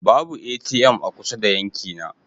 Babu ATM a kusa da yankina.